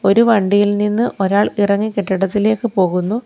ഒരു വണ്ടിയിൽ നിന്ന് ഒരാൾ ഇറങ്ങി കെട്ടിടത്തിലേക്ക് പോകുന്നു.